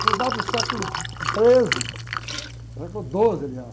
Fundado no século treze, século doze, aliás.